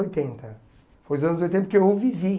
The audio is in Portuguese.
oitenta Foi os anos oitenta que eu vivi.